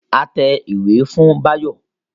A tẹ ìwé fún Báyọ̀